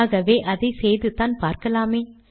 ஆகவே அதை செய்துதான் பார்க்கலாமே